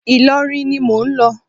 Ìlọrin ni mò ń lọ.